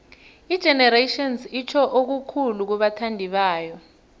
igenerations itjho okukhulu kubathandibayo